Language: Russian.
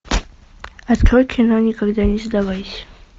открой кино никогда не сдавайся